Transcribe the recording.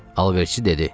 Alverçi dedi.